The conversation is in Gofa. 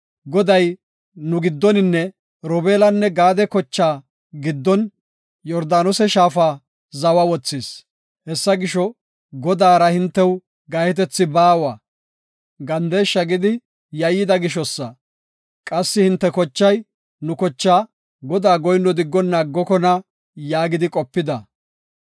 Goday nu giddoninne Robeelanne Gaade kochaa giddon Yordaanose shaafa zawa wothis. Hessa gisho, Godaara hintew gahetethi baawa’ gandeshsha gidi yayyida gishosa. Qassi hinte kochay nu kochaa Godaa goyinno diggonna aggokona” yaagidi qopida.